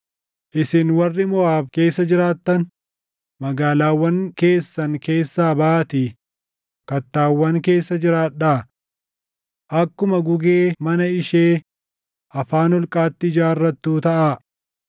Isin warri Moʼaab keessa jiraattan, magaalaawwan keessan keessaa baʼaatii kattaawwan keessa jiraadhaa. Akkuma gugee mana ishee afaan holqaatti ijaarrattuu taʼa.